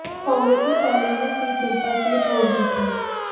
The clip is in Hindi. कांग्रेस ने पहले ही ये सीट डिम्पल के लिए छोड़ दी थी